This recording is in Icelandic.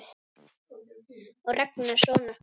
Og Ragnar son okkar.